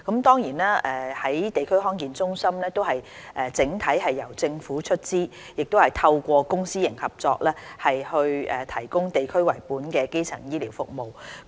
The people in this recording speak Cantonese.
地區康健中心整體由政府出資，透過公私營合作提供以地區為本的基層醫療服務。